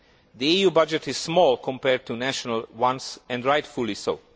The EU budget is small compared to national ones and rightfully so.